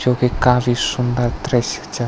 जोकि काफी सुन्दर दृश्य च।